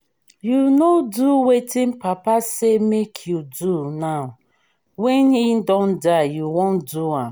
you no do wetin papa say make you do now wey he don die you wan do am